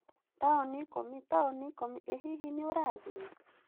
Taũni ikũmi! Taũni ikũmi! ĩ hihi nĩ ũrathiĩ?